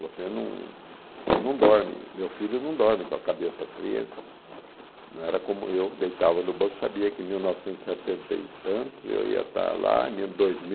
Você não você dorme, meu filho não dorme com a cabeça fria, não era como eu, deitava no banco, sabia que em mil novecentos e setenta e tantos eu ia estar lá, em ano dois mil